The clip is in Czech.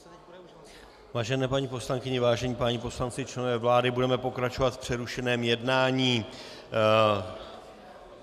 Vážené paní poslankyně, vážení páni poslanci, členové vlády, budeme pokračovat v přerušeném jednání.